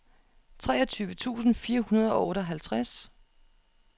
treogtyve tusind fire hundrede og tooghalvtreds